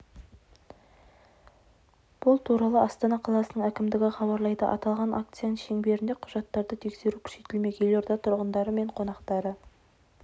бұл туралы астана қаласының әкімдігі хабарлайды аталған акцияның шеңберінде құжаттарды тексеру күшейтілмек елорда тұрғындары мен қонақтары